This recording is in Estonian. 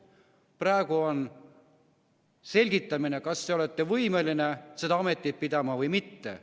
Praegu on selgitamine, kas te olete võimeline seda ametit pidama või mitte.